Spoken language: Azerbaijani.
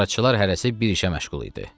Qarçılar hərəsi bir işə məşğul idi.